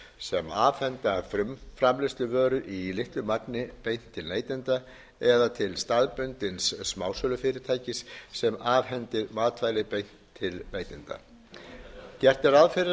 ræða frumframleiðendur sem afhenda frumframleiðsluvörur í litlu magni beint til neytenda eða til staðbundins smásölufyrirtækis sem afhendir matvæli beint til neytenda gert er ráð fyrir að